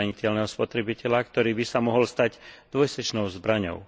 zraniteľného spotrebiteľa, ktorá by sa mohla stať dvojsečnou zbraňou.